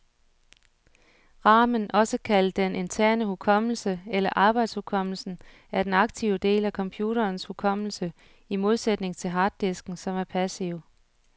Ramen, også kaldet den interne hukommelse eller arbejdshukommelsen, er den aktive del af computerens hukommelse, i modsætning til harddisken, som er passiv.